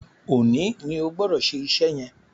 Òní ní Ogbodo ṣe iṣé yén!